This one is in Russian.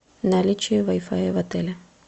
наличие вай фая в отеле